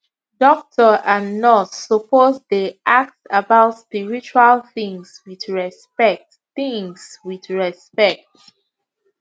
doctor and nurse suppose dey ask about spiritual things with respect things with respect